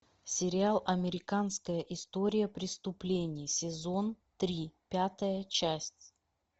сериал американская история преступлений сезон три пятая часть